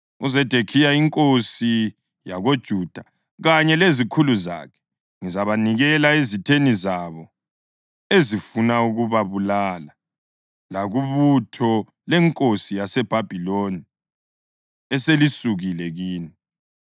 UZedekhiya inkosi yakoJuda kanye lezikhulu zakhe ngizabanikela ezitheni zabo ezifuna ukubabulala, lakubutho lenkosi yaseBhabhiloni eselisukile kini.